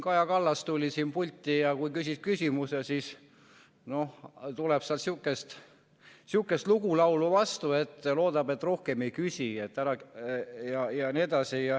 Kaja Kallas tuli pulti ja kui küsisid küsimuse, siis tuli sealt sihukest lugulaulu vastu, et ta loodab, et ma rohkem ei küsi jne.